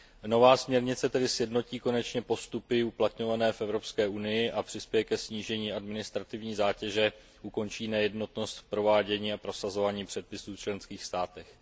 Nová směrnice tedy konečně sjednotí postupy uplatňované v Evropské unii a přispěje ke snížení administrativní zátěže, ukončí nejednotnost v provádění a prosazování předpisů v členských státech.